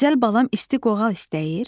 Gözəl balam isti qoğal istəyir?